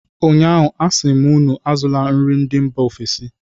Ụnyaahụ, a sị m unu azụla nri ndị mba ofesi!